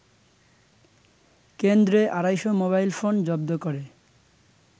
কেন্দ্রে আড়াইশ মোবাইলফোন জব্দ করে